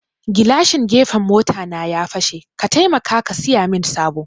Gilashin gefen mota na ya fashe, ka taimaka ka siyamin sabo